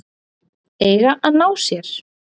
Eiga að ná sér